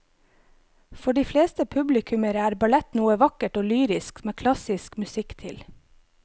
For de fleste publikummere er ballett noe vakkert og lyrisk med klassisk musikk til.